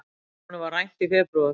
Honum var rænt í febrúar.